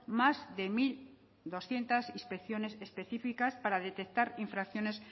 más de mil doscientos inspecciones específicas para detectar infracciones